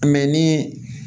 ni